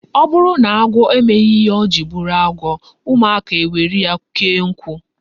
O buru na agwo emeghi ihe ojiri buru agwo, umuaka ewere ya kee nku